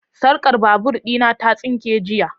sarkar babur dina ta sinke jiya.